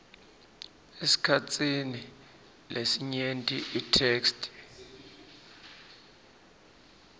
esikhatsini lesinyenti itheksthi